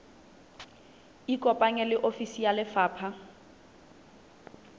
ikopanye le ofisi ya lefapha